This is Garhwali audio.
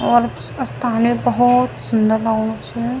और स्थान यू भौत सुंदर लगणू च।